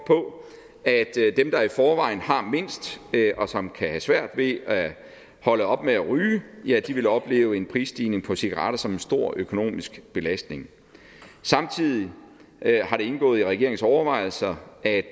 på at dem der i forvejen har mindst og som kan have svært ved at holde op med at ryge ja de vil opleve en prisstigning på cigaretter som en stor økonomisk belastning samtidig har det indgået i regeringens overvejelser at